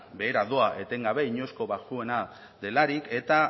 behera doa etengabe inoizko baxuena delarik eta